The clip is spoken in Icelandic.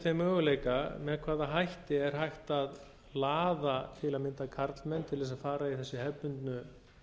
þeim möguleika með hvaða hætti er hægt að laða til að mynda karlmenn til þess að fara í